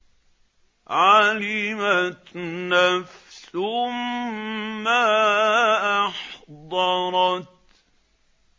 عَلِمَتْ نَفْسٌ مَّا أَحْضَرَتْ